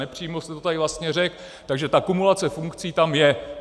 Nepřímo jste to tady vlastně řekl, takže ta kumulace funkcí tam je.